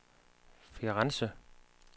Firenze